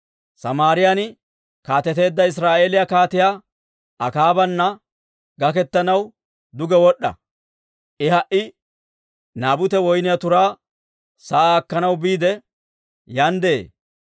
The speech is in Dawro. «Samaariyaan kaateteedda Israa'eeliyaa Kaatiyaa Akaabana gaketanaw duge wod'd'a. I ha"i Naabute woyniyaa turaa sa'aa akkanaw biide, yaan de'ee.